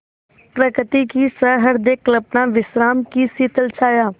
प्रकृति की सहृदय कल्पना विश्राम की शीतल छाया